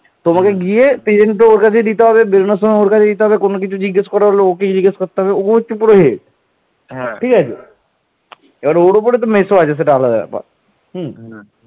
এ সময় শশাঙ্ক কনৌজ আক্রমণ করেন